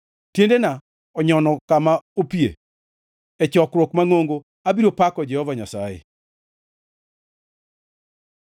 Tiendena onyono kama opie; e chokruok mangʼongo abiro pako Jehova Nyasaye.